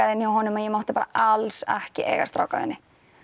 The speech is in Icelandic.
inn hjá honum og ég mátti bara alls ekki eiga